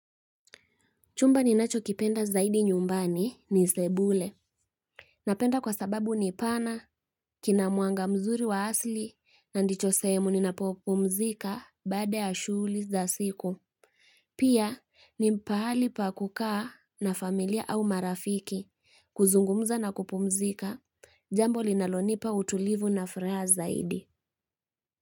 Chumba ninacho kipenda zaidi nyumbani ni sebule. Napenda kwa sababu ni pana, kina mwanga mzuri wa asili, na ndicho sehemu ninapopumzika baada ya shughuli za siku. Pia ni pahali pa kukaa na familia au marafiki, kuzungumza na kupumzika, jambo linalonipa utulivu na furaha zaidi.